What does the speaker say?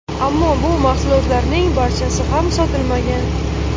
Ammo bu mahsulotlarning barchasi ham sotilmagan.